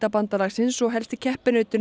bandalagsins og helsti keppinautur